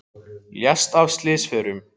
Lést af slysförum